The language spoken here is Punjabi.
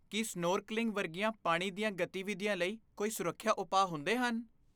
ਕੀ ਸਨੋਰਕਲਿੰਗ ਵਰਗੀਆਂ ਪਾਣੀ ਦੀਆਂ ਗਤੀਵਿਧੀਆਂ ਲਈ ਕੋਈ ਸੁਰੱਖਿਆ ਉਪਾਅ ਹੁੰਦੇ ਹਨ?